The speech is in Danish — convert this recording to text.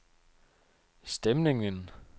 stemningen